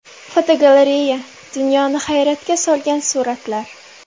Fotogalereya: Dunyoni hayratga solgan suratlar.